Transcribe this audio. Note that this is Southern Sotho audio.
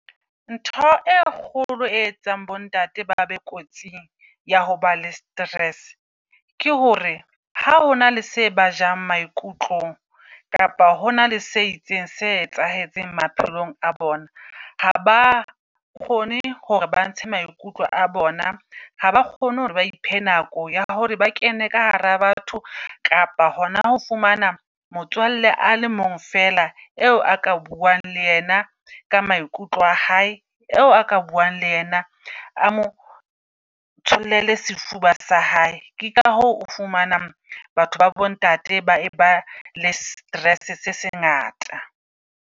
Ntho e kgolo e etsang bo ntate ba be kotsing ya hoba le stress. Ke hore ha hona le se ba jang maikutlong kapa hona le se itseng se etsahetseng maphelong a bona. Ha ba o kgone hore ba ntshe maikutlo a bona, ha ba kgone hore ba iphe nako ya hore ba kene ka hara batho kapa hona ho fumana motswalle a le mong fela eo a ka buang le yena ka maikutlo a hae. Eo a ka buang le yena a mo tshollele sefuba sa hae. Ke ka hoo o fumanang batho babo ntate ba eba le stress se se ngata.